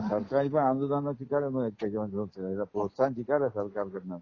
हा सरकारी पण आंदोना चिकारी मिळते त्याच्याहून प्रोत्साहन चिकार आहे सरकार कडन.